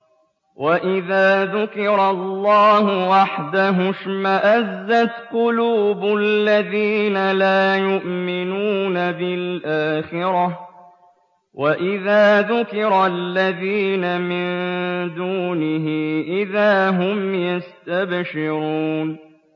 وَإِذَا ذُكِرَ اللَّهُ وَحْدَهُ اشْمَأَزَّتْ قُلُوبُ الَّذِينَ لَا يُؤْمِنُونَ بِالْآخِرَةِ ۖ وَإِذَا ذُكِرَ الَّذِينَ مِن دُونِهِ إِذَا هُمْ يَسْتَبْشِرُونَ